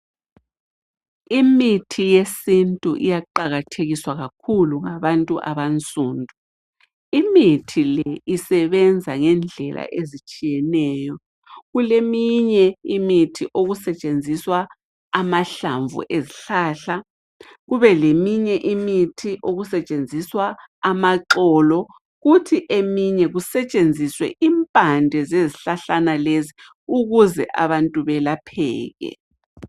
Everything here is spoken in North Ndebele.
lmithi yesintu iyaqakathekiswa kakhulu ngabantu abansundu. lmithi le isebenza ngendlela ezitshiyeneyo kuleminye imithi okusetshenziswa amahlamvu ezihlahla kube leminye imithi okusetshenziswa amaxolo kuthi eminye kusetshenziswe impande zezihlahlana lezi ukuze abantu belapheke.